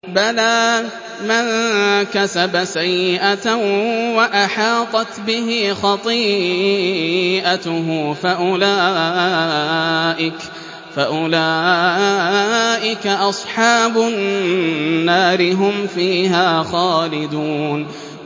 بَلَىٰ مَن كَسَبَ سَيِّئَةً وَأَحَاطَتْ بِهِ خَطِيئَتُهُ فَأُولَٰئِكَ أَصْحَابُ النَّارِ ۖ هُمْ فِيهَا خَالِدُونَ